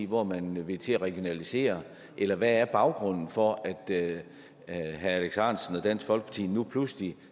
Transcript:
hvor man vil til at regionalisere eller hvad er baggrunden for at herre alex ahrendtsen og dansk folkeparti nu pludselig